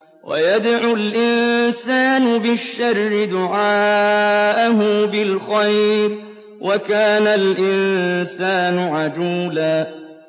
وَيَدْعُ الْإِنسَانُ بِالشَّرِّ دُعَاءَهُ بِالْخَيْرِ ۖ وَكَانَ الْإِنسَانُ عَجُولًا